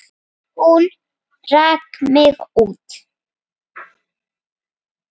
Hún rak mig út.